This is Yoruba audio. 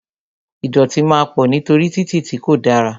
Ìdọ̀tí máa pọ̀ nítorí títì tí kò dára